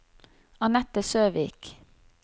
Anette Søvik